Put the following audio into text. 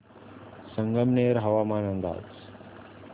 संगमनेर हवामान अंदाज